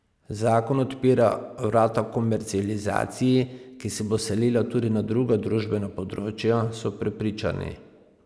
Zakon odpira vrata komercializaciji, ki se bo selila tudi na druga družbena področja, so prepričani.